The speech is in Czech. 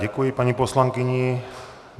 Děkuji paní poslankyni.